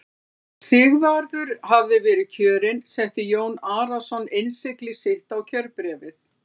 Þegar Sigvarður hafði verið kjörinn setti Jón Arason innsigli sitt á kjörbréfið.